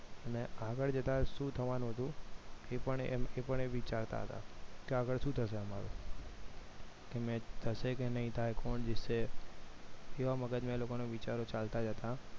અને આગળ જતા શું થવાનું હતું એ પણ એ વિચારતા કે આગળ શું થશે હમણાં કે match થશે કે નહિ થશે આજે કોણ જીતશે એવા વિચારો એ લોકોના મગજમાં એવા વિચારો ચાલતા જ હતા